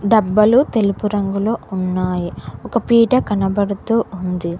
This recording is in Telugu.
డబ్బలు తెలుపు రంగులో ఉన్నాయి ఒక పీట కనబడుతూ ఉంది.